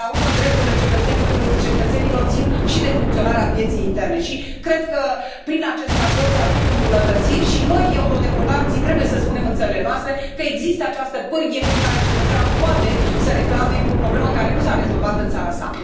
Până la urmă, drepturile cetățenilor țin și de funcționarea pieței interne și cred că prin acest raport se aduc îmbunătățiri și noi, eurodeputații, trebuie să spunem în țările noastre că există această pârghie prin care cetățeanul poate să reclame o problemă care nu s a rezolvat în țara sa.